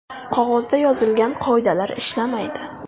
Qog‘ozda yozilgan qoidalar ishlamaydi”.